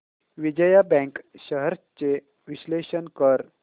Vijaya bank shares चे विश्लेषण कर